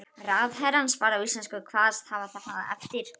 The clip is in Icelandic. Ráðherrann svaraði á íslensku og kvaðst hafa það eftir